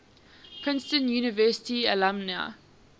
princeton university alumni